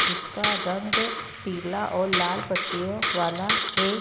जिसका रंग पीला और लाल पट्टियों वाला है।